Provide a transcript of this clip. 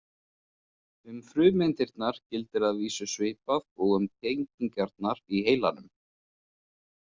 Um frumeindirnar gildir að vísu svipað og um tengingarnar í heilanum.